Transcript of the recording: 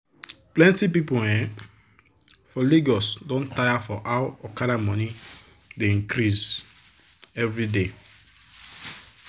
plenti people um for lagos don tire for how okada money dey increase everyday.